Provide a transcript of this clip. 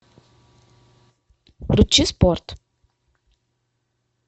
включи спорт